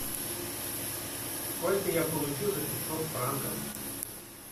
сколько я получу за пятьсот франков